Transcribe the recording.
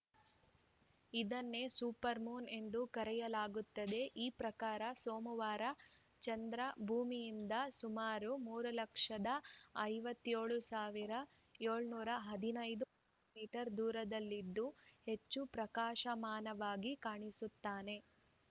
ಇದನ್ನೇ super moon ಎಂದು ಕರೆಯಲಾಗುತ್ತದೆ ಈ ಪ್ರಕಾರ ಸೋಮವಾರ ಚಂದ್ರ ಭೂಮಿಯಿಂದ ಸುಮಾರು ಮೂರು ಲಕ್ಷದ ಐವತ್ತ್ ಏಳು ಸಾವಿರದ ಏಳುನೂರ ಹದಿನೈದು ಕಿಲೋ ಮೀಟರ್ ದೂರದಲ್ಲಿದ್ದು ಹೆಚ್ಚು ಪ್ರಕಾಶಮಾನನಾಗಿ ಕಾಣಿಸುತ್ತಾನೆ